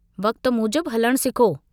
वक्त मूजिब हलणु सिखो।